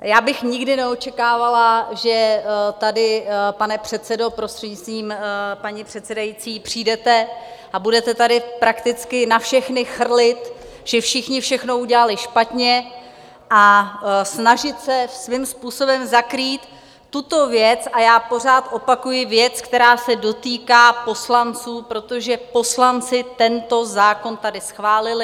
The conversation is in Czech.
Já bych nikdy neočekávala, že tady, pane předsedo, prostřednictvím paní předsedající, přijdete a budete tady prakticky na všechny chrlit, že všichni všechno udělali špatně, a snažit se svým způsobem zakrýt tuto věc, a já pořád opakuji, věc, která se dotýká poslanců, protože poslanci tento zákon tady schválili.